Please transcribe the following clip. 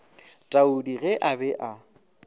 taudi ge a be a